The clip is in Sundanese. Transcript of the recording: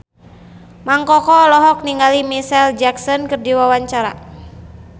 Mang Koko olohok ningali Micheal Jackson keur diwawancara